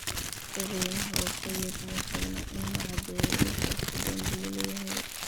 Eedeymaha oo keliya kuma filna in la caddeeyo in qofku dembiile yahay.